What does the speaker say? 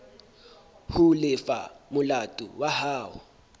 ho lefa molato wa hao